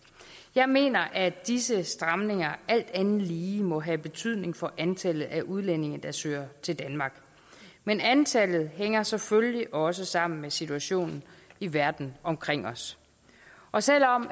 jeg mener at disse stramninger alt andet lige må have betydning for antallet af udlændinge der søger til danmark men antallet hænger selvfølgelig også sammen med situationen i verden omkring os og selv om